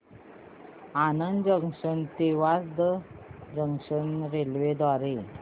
Anand junction ते Vasad junction railway द्वारे